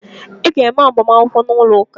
Ị ga eme -agbamakwụkwọ n’ụlọ ụka